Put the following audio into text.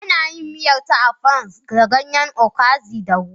Ana yin miya ta Afang da ganyen okazi da ruwa